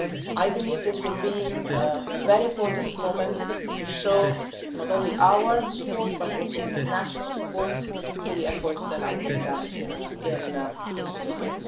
I believe this will be a very important moment, to show not only our support but also the international support for the efforts that have been made in Somalia.